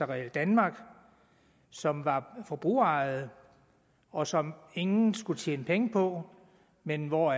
realdanmark som var forbrugerejet og som ingen skulle tjene penge på men hvor